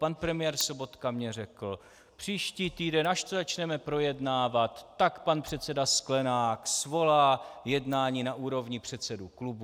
Pan premiér Sobotka mi řekl: příští týden, až to začneme projednávat, tak pan předseda Sklenák svolá jednání na úrovni předsedů klubů.